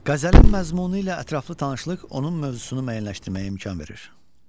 Qəzəlin məzmunu ilə ətraflı tanışlıq onun mövzusunu müəyyənləşdirməyə imkan verir.